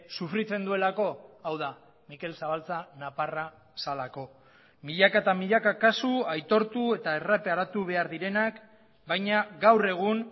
sufritzen duelako hau da mikel zabaltza nafarra zelako milaka eta milaka kasu aitortu eta erreparatu behar direnak baina gaur egun